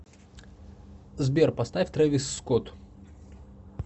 сбер поставь трэвис скотт